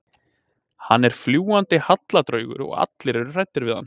Hann er fljúgandi hallardraugur og allir eru hræddir við hann.